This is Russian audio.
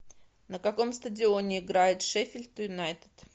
на каком стадионе играет шеффилд юнайтед